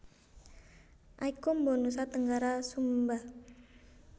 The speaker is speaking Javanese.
Aikombo Nusa Tenggara Sumba